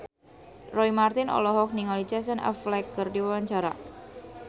Roy Marten olohok ningali Casey Affleck keur diwawancara